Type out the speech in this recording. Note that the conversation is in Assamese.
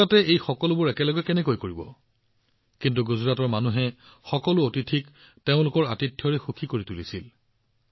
গুজৰাটে একে সময়তে এই সকলোবোৰ কাম কেনেদৰে কৰিব কিন্তু গুজৰাটৰ মানুহে সকলো অতিথিক তেওঁলোকৰ আতিথ্যত সুখী কৰি তুলিছিল